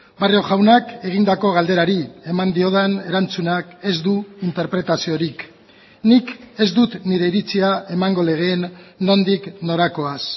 barrio jaunak egindako galderari eman diodan erantzunak ez du interpretaziorik nik ez dut nire iritzia emango legeen nondik norakoaz